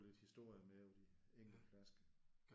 Få lidt historie med om de enkelte flasker